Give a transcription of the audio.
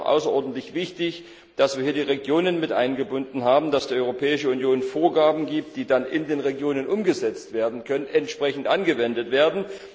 Ich finde es auch außerordentlich wichtig, dass wir hier die Regionen mit eingebunden haben, dass die Europäische Union Vorgaben gibt, die dann in den Regionen umgesetzt werden können und entsprechend angewendet werden.